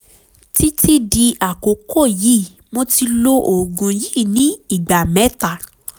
títí di àkókò yìí mo ti lo oògùn yìí ní ìgbà mẹ́ta